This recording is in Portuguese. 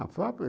A